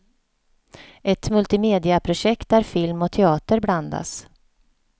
Ett multimediaprojekt där film och teater blandas.